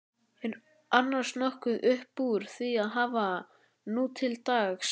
Er annars nokkuð uppúr því að hafa nútildags?